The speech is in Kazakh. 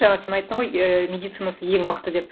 жаңа сен айттың ғой ы медицинасы ең мықты деп